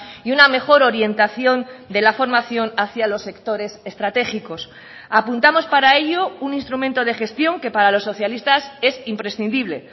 y una mejor orientación de la formación hacia los sectores estratégicos apuntamos para ello un instrumento de gestión que para los socialistas es imprescindible